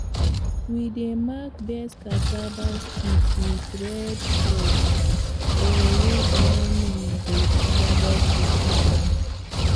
we dey mark best cassava stick with red cloth or rope when we dey harvest to keep am